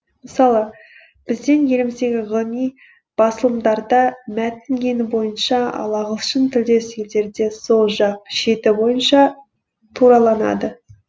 мысалы біздің еліміздегі ғылыми басылымдарда мәтін ені бойынша ал ағылшын тілдес елдерде сол жақ шеті бойынша тураланады